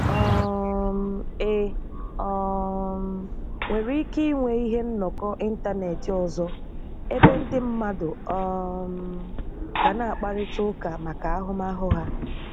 um E um nwere ike nwee ihe nnọkọ ịntanetị ọzọ ebe ndị mmadụ um ga na-akparita ụka màkà ahụmahụ ha?